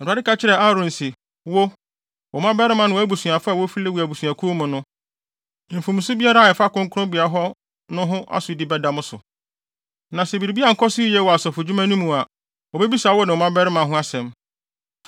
Awurade kasa kyerɛɛ Aaron se, “Wo, wo mmabarima ne wʼabusuafo a wofi Lewi abusuakuw mu no, mfomso biara a ɛfa kronkronbea hɔ no ho asodi bɛda mo so. Na sɛ biribi ankɔ so yiye wɔ asɔfodwuma no mu a, wobebisa wo ne wo mmabarima ho asɛm.